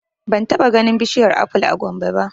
Ban taɓa ganin bishiyar aful a Gombe ba